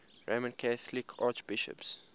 roman catholic archbishops